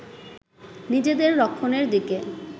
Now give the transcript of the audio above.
নিজেদের রক্ষণের দিকে